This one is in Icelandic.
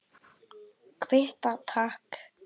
Kvitta, takk!